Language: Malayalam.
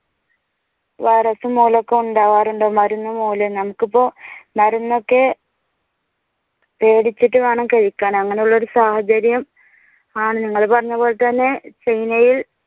വൈറസും മൂലം ഒക്കെ ഉണ്ടാകാറുണ്ട് മരുന്നു മൂലം. നമുക്കിപ്പോ മരുന്നൊക്കെ പേടിച്ചിട്ട് വേണം കഴിക്കാൻ അങ്ങനെയുള്ള ഒരു സാഹചര്യം ആണ്. നിങ്ങൾ പറഞ്ഞതുപോലെ തന്നെ China യിൽ